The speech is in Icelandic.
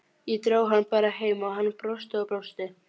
Ég dró hann bara heim og hann brosti og brosti.